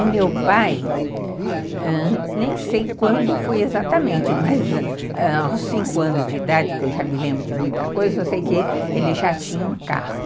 O meu pai, ãh, nem sei quando foi exatamente, mas aos cinco anos de idade, que eu já me lembro de muita coisa, eu sei que ele já tinha um carro.